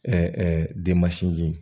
denmansinji